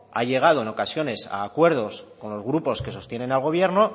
ha llegado en ocasiones a acuerdos con los grupos que sostienen al gobierno